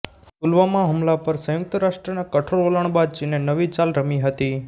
પુલવામા હુમલા પર સંયુક્ત રાષ્ટ્રના કઠોર વલણ બાદ ચીને નવી ચાલ રમી હતી